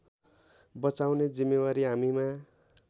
बचाउने जिम्मेवारी हामीमा